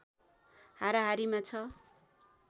हाराहारीमा छ